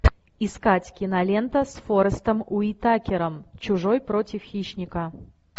искать кинолента с форестом уитакером чужой против хищника